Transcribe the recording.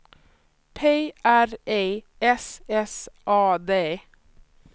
P R E S S A D